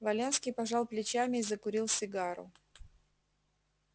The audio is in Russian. валенский пожал плечами и закурил сигару